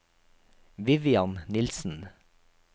Vivian Nilssen